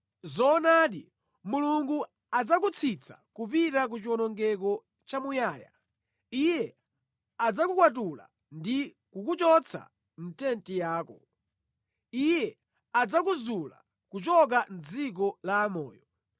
Zoonadi Mulungu adzakutsitsa kupita ku chiwonongeko chamuyaya: iye adzakukwatula ndi kukuchotsa mʼtenti yako; iye adzakuzula kuchoka mʼdziko la amoyo.